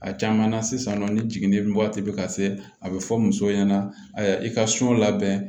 A caman na sisan nɔ ni jiginnen waati bɛ ka se a bɛ fɔ muso ɲɛna a i ka labɛn